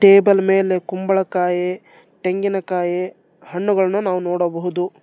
Table ಮೇಲೆ ಕುಂಬಳಕಾಯಿ ತೆಂಗಿನಕಾಯಿ ಹಣ್ಣುಗಳನ್ನು ನಾವು ನೋಡಬಹುದು.